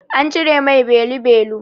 An cire mai belu-belu.